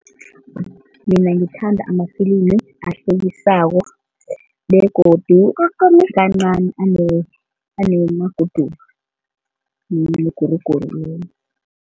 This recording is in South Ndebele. Mina ngithanda amafilimi ahlekisako begodu kancani anamaguduva, imiguruguru